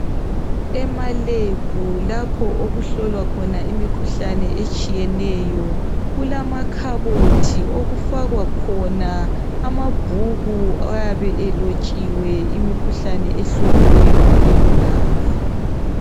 Emalebhu lapho okuhlolwa khona okuhlolwa khona imikhuhlane etshiyeneyo, kulamakhabothi okufakwa khona amabhuku ayabe elotshiwe imikhuhlane ehloliweyo ngalelo langa.